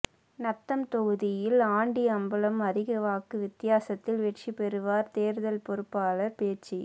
நத்தம் தொகுதியில் ஆண்டி அம்பலம் அதிக வாக்கு வித்தியாசத்தில் வெற்றி பெறுவார் தேர்தல் பொறுப்பாளர் ேபச்சு